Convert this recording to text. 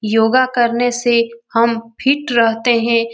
योगा करने से हम फिट रहते हैं |